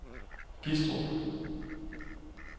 Gistrup